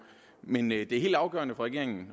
men det er helt afgørende for regeringen